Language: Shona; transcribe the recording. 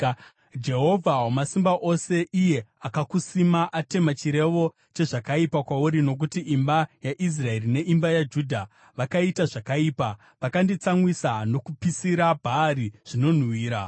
Jehovha Wamasimba Ose, iye akakusima, atema chirevo chezvakaipa kwauri, nokuti imba yaIsraeri neimba yaJudha vakaita zvakaipa, vakanditsamwisa nokupisira Bhaari zvinonhuhwira.